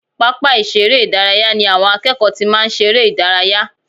Pápá ìṣeré ìdárayá ni àwọn akẹ́kọ̀ọ́ ti máa ń ṣeré ìdárayá